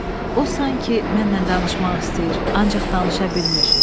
O sanki mənlə danışmaq istəyir, ancaq danışa bilmir.